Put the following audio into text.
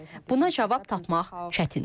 Buna cavab tapmaq çətindir.